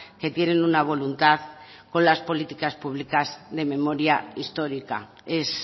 que tienen una voluntad con las políticas públicas de memoria histórica es